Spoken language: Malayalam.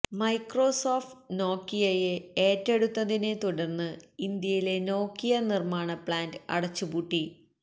മൈക്രോസോഫ്റ്റ് നോക്കിയയെ ഏറ്റെടുത്തതിനെ തുടര്ന്ന് ഇന്ത്യയിലെ നോക്കിയ നിര്മാണ പ്ളാന്റ് അടച്ചുപൂട്ടി